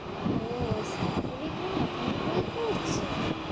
আহ সইফ আলী খান এখনও বই করছে।"